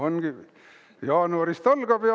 Ongi, jaanuarist algab ja …